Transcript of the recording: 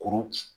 Kurun ci